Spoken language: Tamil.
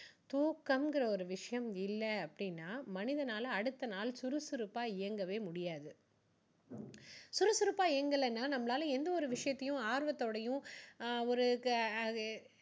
தூக்கங்குற ஒரு விஷயம் இல்ல அப்படின்னா மனிதனால அடுத்த நாள் சுறுசுறுப்பா இயங்கவே முடியாது. சுறுசுறுப்பா இயங்கலைன்னா நம்மளால எந்த ஒரு விஷயத்தையும் ஆர்வத்தோடயும் ஆஹ் ஒரு அஹ் அது